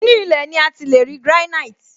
Inú ilé ní ati leri granite